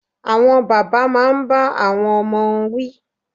Àwọn bàbá máa n bá àwọn ọmọ wí